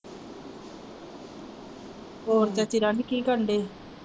ਹੇਰ ਚਾਚੀ ਰਾਣੀ ਕੀ ਕਰਨ ਦਈ?